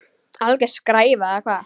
Alger skræfa eða hvað?